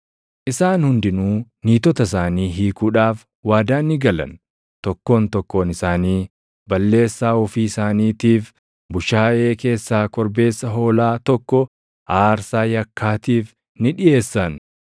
Isaan hundinuu niitota isaanii hiikuudhaaf waadaa ni galan; tokkoon tokkoon isaanii balleessaa ofii isaaniitiif bushaayee keessaa korbeessa hoolaa tokko aarsaa yakkaatiif ni dhiʼeessan.